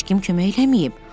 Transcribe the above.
Heç kim kömək eləməyib.